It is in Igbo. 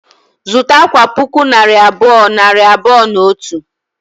Zụta akwa puku naira abụọ, nari abụọ na otu